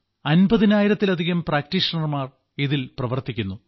അമ്പതിനായിരത്തിലധികം പ്രാക്ടീഷണർമാർ ഇതിൽ പ്രവർത്തിക്കുന്നു